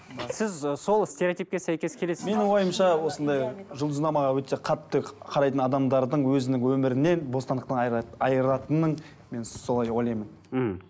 сіз ы сол стереотипке сәйкес келесіз бе менің ойымша осындай жұлдызнамаға өте қатты қарайтын адамдардың өзінің өмірінен бостандықтан айыратынын мен солай деп ойлаймын мхм